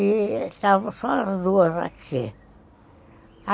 E estavam só as duas aqui.